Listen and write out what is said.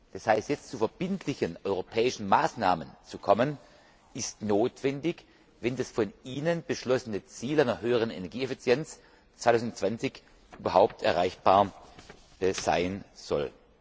Das heißt, jetzt zu verbindlichen europäischen Maßnahmen zu kommen, ist notwendig, wenn das von Ihnen beschlossene Ziel einer höheren Energieeffizienz 2020 überhaupt erreichbar sein soll.